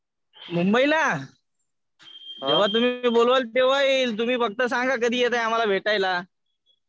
मुंबईला जेव्हा तुम्ही बोलवाल तेव्हा येईल. तुम्ही फक्त सांगा कधी येताय आम्हाला भेटायला?